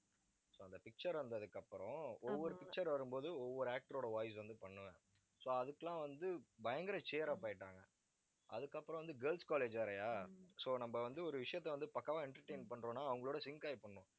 so அந்த picture வந்ததுக்கு அப்புறம் ஒவ்வொரு picture வரும்போது, ஒவ்வொரு actor ஓட voice வந்து பண்ணுவேன். so அதுக்கெல்லாம் வந்து, பயங்கர cheer up ஆயிட்டாங்க அதுக்கப்புறம் வந்து, girls college வேறயா so நம்ம வந்து, ஒரு விஷயத்த வந்து, பக்காவா entertain பண்றோம்னா அவங்களோட sync ஆயி பண்ணணும்